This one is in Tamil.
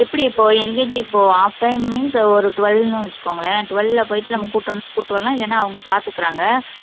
எப்படி இப்போ LKG இப்போ half time means ஒரு twelve ன்னு வச்சுக்கோங்களேன் twelve ல போயிட்டு நம்ம கூட்டிட்டு வரலாம் இல்லைனா அவங்க பார்த்துக்கிறாங்க